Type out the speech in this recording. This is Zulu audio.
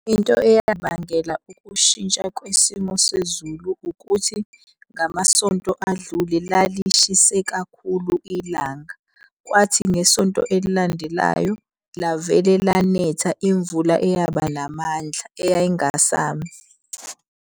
Into eyabangela ukushintsha kwesimo sezulu ukuthi ngamasonto adlule lalishise kakhulu ilanga. Kwathi ngesonto elilandelayo lavele lanetha imvula eyaba namandla eyayingasami.